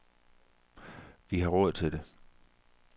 Vi har råd til det.